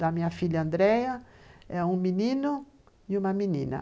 Da minha filha Andréia, um menino e uma menina.